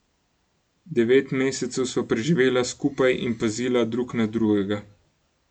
Devet mesecev sva preživela skupaj in pazila drug na drugega.